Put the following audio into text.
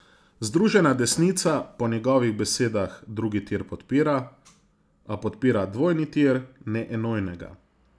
Združena desnica po njegovih besedah drugi tir podpira, a podpira dvojni tir, ne enojnega.